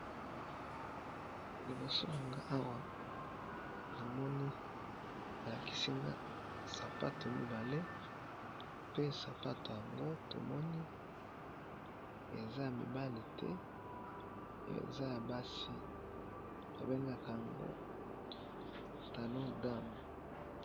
Liboso na nga awa na moni ba lakisi nga sapato mibale. Pe sapato yango tomoni eza ya mibale te eza ya basi. Ba bengaka yango talon dame.